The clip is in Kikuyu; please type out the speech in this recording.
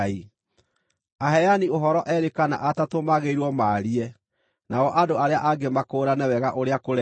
Aheani ũhoro eerĩ kana atatũ magĩrĩirwo maarie, nao andũ arĩa angĩ makũũrane wega ũrĩa kũreerwo.